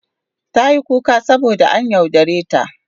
Tayi kuka saboda an yaudare ta.